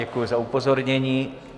Děkuji za upozornění.